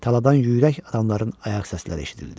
Taladan ürək adamların ayaq səsləri eşidildi.